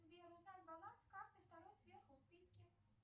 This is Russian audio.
сбер узнай баланс карты второй сверху в списке